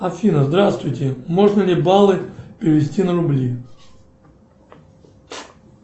афина здравствуйте можно ли баллы перевести на рубли